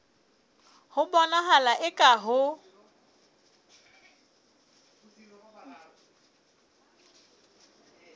ho bonahala eka ha ho